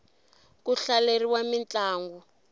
ku hlaleriwa mintlangu